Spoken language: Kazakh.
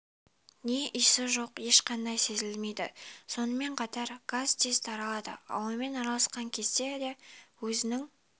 не иісі жоқ ешқандай сезілмейді сонымен қатар газ тез таралады ауамен араласқан кезде де өзінің